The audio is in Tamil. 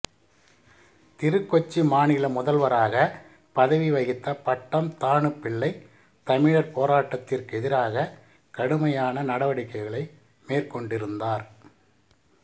திருகொச்சி மாநில முதல்வராக பதவி வகித்த பட்டம் தாணுபிள்ளை தமிழர் போராட்டத்திற்கெதிராக கடுமையான நடவடிக்கைகளை மேற்கொண்டிருந்தார்